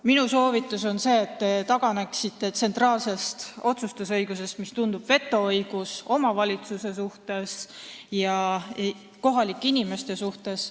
Minu soovitus on see, et te taganeksite tsentraalsest otsustusõigusest, mis tundub vetoõigusena omavalitsuse ja kohalike inimeste suhtes.